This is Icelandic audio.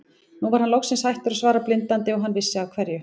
Nú var hann loksins hættur að svara blindandi og hann vissi af hverju.